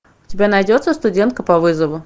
у тебя найдется студентка по вызову